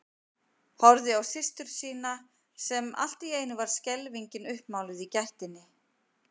Horfði á systur sína sem var allt í einu skelfingin uppmáluð í gættinni.